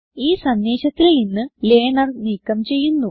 ഈ സന്ദേശത്തിൽ നിന്ന് ലർണർ നീക്കം ചെയ്യുന്നു